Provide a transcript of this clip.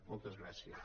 moltes gràcies